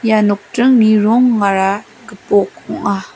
ia nokdringni rongara gipok ong·a.